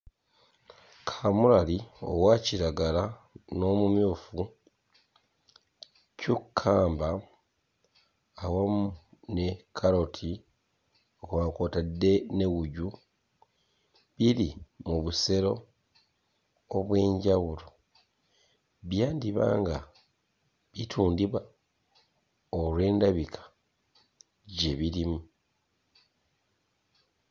Kaamulali owa kiragala n'omumyufu, cucumber awamu ne kkaloti kwa kw'otadde ne wuju biri mu busero obw'enjawulo byandiba nga bitundibwa olw'endabika gye birimu.